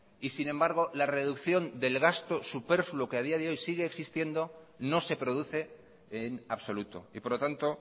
y sin embargo la reducción del gasto superfluo que a día de hoy sigue existiendo no se produce en absoluto y por lo tanto